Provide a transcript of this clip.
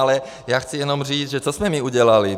Ale já chci jenom říct, že co jsme my udělali?